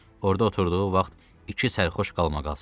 Orda oturduğu vaxt iki sərxoş qalmaqal salıb.